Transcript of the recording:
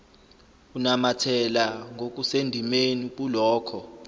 unamathela ngokusendimeni kulokho